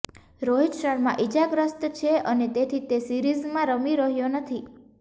રોહિત શર્મા ઈજાગ્રસ્ત છે અને તેથી તે સિરીઝમાં રમી રહ્યો નથી